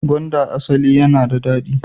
Gwanda asali yana da dadi.